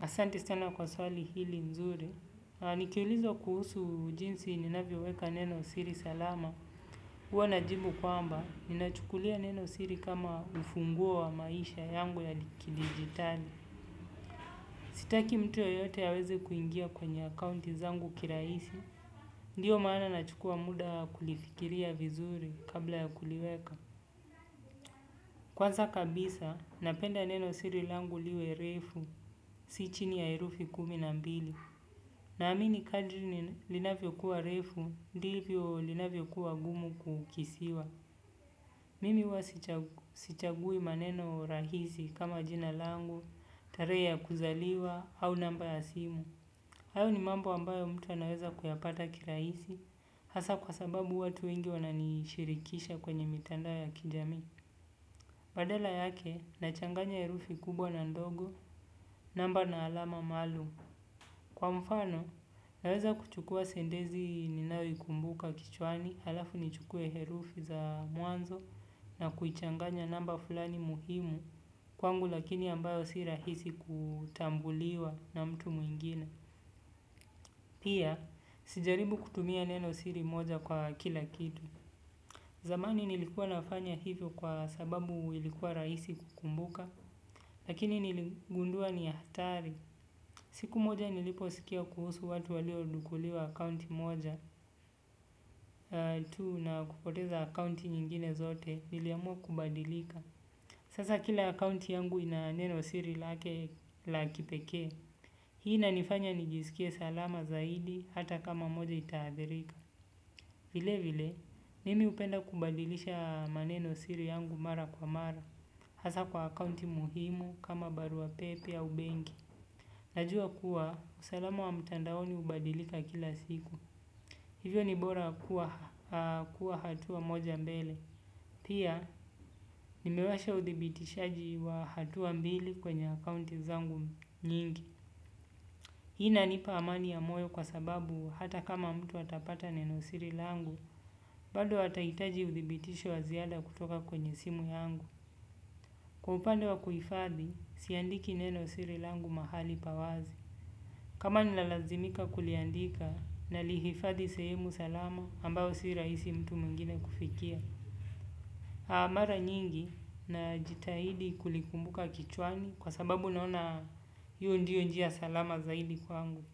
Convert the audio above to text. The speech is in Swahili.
Asanti sana kwa swali hili nzuri. Nikiulizwa kuhusu jinsi ninavyoweka neno siri salama. Huwa najibu kwamba, ninachukulia neno siri kama ufunguo wa maisha yangu ya kidigitali. Sitaki mtu yeyote aweze kuingia kwenye akaunti zangu kirahisi. Ndiyo maana nachukua muda kulifikiria vizuri kabla ya kuliweka. Kwanza kabisa napenda neno siri langu liwe refu si chini ya herufi kumi na mbili. Na amini kadri linavyo kuwa refu, ndivyo linavyo kuwa gumu kukisiwa. Mimi huwa sichagui maneno rahisi kama jina langu, tarehe ya kuzaliwa, au namba ya simu. Hayo ni mambo ambayo mtu anaweza kuyapata kirahisi, hasa kwa sababu watu wengi wananishirikisha kwenye mitandao ya kijami. Badala yake nachanganya herufi kubwa na ndogo, namba na alama maalum. Kwa mfano naweza kuchukua sentensi ninao ikumbuka kichwani, alafu nichukue herufi za mwanzo na kuchanganya namba fulani muhimu kwangu lakini ambayo si rahisi kutambuliwa na mtu mwingine. Pia, usijaribu kutumia neno siri moja kwa kila kitu. Zamani nilikuwa nafanya hivyo kwa sababu ilikuwa rahisi kukumbuka, lakini niligundua ni ya hatari. Siku moja niliposikia kuhusu watu walio dhukuliwa akaunti moja tuna huhkupoteza akaunti nyingine zote niliamua kubadilika. Sasa kila akaunti yangu ina neno siri lake la kipekee. Hii inanifanya nijisikie salama zaidi hata kama moja itaadhirika. Vile vile mimi hupenda kubadilisha maneno siri yangu mara kwa mara hasa kwa akaunti muhimu kama barua pepe au benki. Najua kuwa, usalama wa mtandaoni hubadilika kila siku. Hivyo ni bora kuwa hatua moja mbele. Pia, nimewasha uthibitishaji wa hatua mbili kwenye akounti zangu nyingi. Hii na nipa amani ya moyo kwa sababu hata kama mtu atapata neno siri langu, bado atahitaji uthibitisho wa ziada kutoka kwenye simu yangu. Upande wa kuifadhi, siandiki neno siri langu mahali pawazi. Kama ni lalazimika kuliandika nalihifadhi sehemu salama ambao sirahisi mtu mwingine kufikia. Mara nyingi najiitahidi kulikumbuka kichwani kwa sababu naona huu ndiyo njia salama zaidi kwangu.